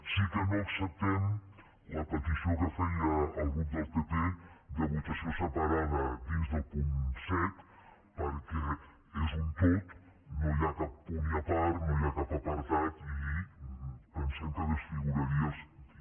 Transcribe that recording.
sí que no acceptem la petició que feia el grup del pp de votació separada dins del punt set perquè és un tot no hi ha cap punt i a part no hi ha cap apartat i pensem que desfiguraria el sentit